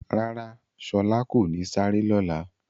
Rárá, Shọla kò ní sárẹ̀ lọ́lá.